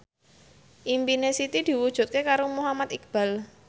impine Siti diwujudke karo Muhammad Iqbal